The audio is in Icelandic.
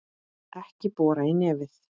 Ekki bora í nefið!